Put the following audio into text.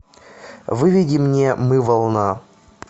выведи мне мы волна